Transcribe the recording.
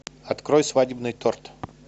открой свадебный торт